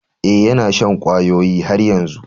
Eh, yana shan kwayoyi har yanzu.